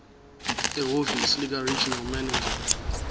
ehhovisi likaregional manager